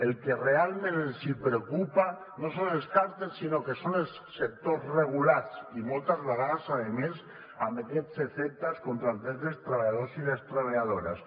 el que realment els preocupa no són els càrtels sinó que són els sectors regulats i moltes vegades a més amb aquests efectes contra els drets dels treballadors i les treballadores